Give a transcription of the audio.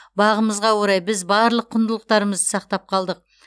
бағымызға орай біз барлық құндылықтарымыз сақтап қалдық